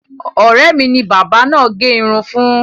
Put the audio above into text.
Ọ̀rẹ́ mi ni bábà náà gẹ irun fún.